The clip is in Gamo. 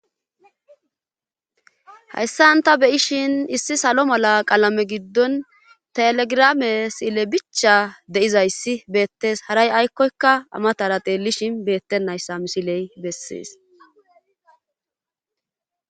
haysan ta be7ishin issi salo mala qalamee giddon telegrame sile bicha de7izayssi beettes;haray aykkoykka a matara xeellishin beetenayssa misile bessees.